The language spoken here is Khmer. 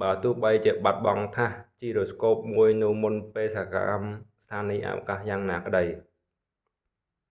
បើទោះបីជាបាត់បង់ថាស gyroscope មួយនៅមុនបេសកកម្មស្ថានីយ៍អវកាសយ៉ាងណាក្តី